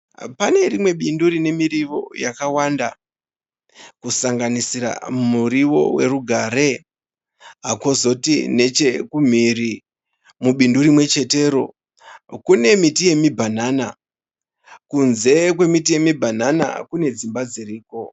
Pane rimwe bindu rine miriwo yakawanda kusanganisira muriwo werugare kozoti nechekumhiri mubindu rimwechetero kune miti yemibhanana. Kunze kwemiti yemibhanana kune dzimba dziriko.